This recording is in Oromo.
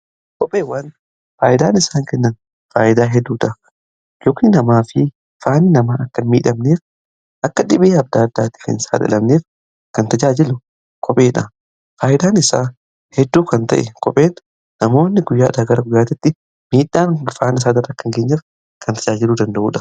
Kopheewwan faayidaan isaan kennan faayidaa hedduudha. Yookiini namaa fi faanni namaa akkan miidhamneef akka dhibee adda addaatif hin saaxilamneef kan tajaajilu kopheedha. Faayidaan isaa hedduu kan ta'e kopheedha. Namoonni guyyaadha gara guyaatiitti miidhaan faana isaa irra akka hin geenyeef kan tajaajilu danda'udha.